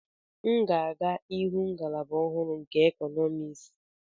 M ga-aga ịhụ ngalaba ọhụrụ nke Economics.